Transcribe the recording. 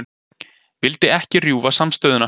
Vildi ekki rjúfa samstöðuna